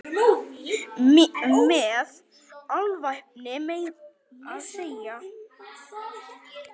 Með alvæpni meira að segja!